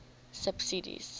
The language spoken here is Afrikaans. subsidies